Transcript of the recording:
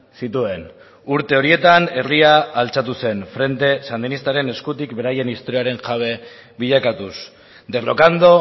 zituen urte horietan herria altxatu zen frente sandinistaren eskutik beraien historiaren jabe bilakatuz derrocando